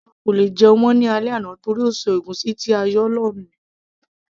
àwa kò lè jẹun mọ́ ní alẹ́ àná torí ó ṣọ ègúsí ti a yóò lò ní